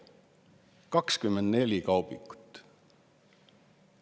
24 kaubikut!